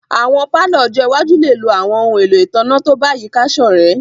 Awọn palọ ọ́jọ iwaju le lo awọn ohun elo itanna to bayika sorẹ̀